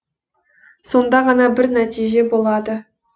сонда ғана бір нәтиже болады